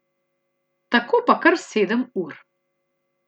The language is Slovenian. Tako pa kar sedem ur.